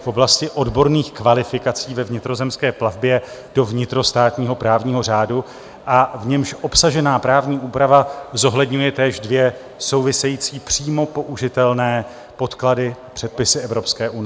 v oblasti odborných kvalifikací ve vnitrozemské plavbě do vnitrostátního právního řádu, a v němž obsažená právní úprava zohledňuje též dvě související přímo použitelné podklady, předpisy EU.